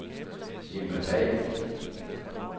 Irma Pagh